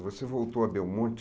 Você voltou a Belmonte?